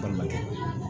Balimakɛ